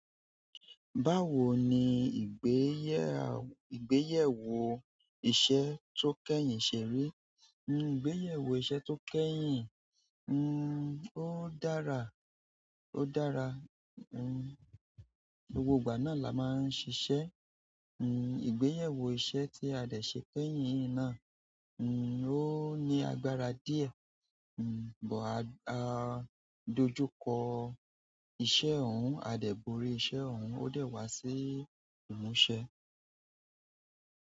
Báwo ni ìgbéyẹ̀wó iṣẹ́ tó kẹ́yìn ṣerí? N o, ìgbéyẹ̀wó iṣẹ́ tó kẹ́yìn n o, ó dára, ó dára. N, gbogbo ìgbà náà la máa ń ṣeṣẹ́. N, ìgbéyẹ̀wó iṣẹ́ tí a dẹ̀ ṣe kẹ́yìn náà n o, ó ní agbára díẹ̀. N bọ̀, à dojú kọ iṣẹ́ ọ̀hún, a dẹ̀ borí iṣẹ́ ọ̀hún, ó dẹ̀ wá sí ìmúṣẹ.